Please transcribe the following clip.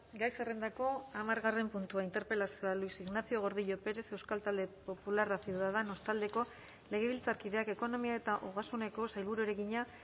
gai zerrendako hamargarren puntua interpelazioa luis ignacio gordillo pérez euskal talde popularra ciudadanos taldeko legebiltzarkideak ekonomia eta ogasuneko sailburuari egina